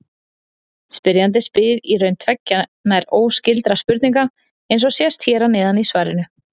Spyrjandi spyr í raun tveggja nær óskyldra spurninga, eins og sést hér neðst í svarinu.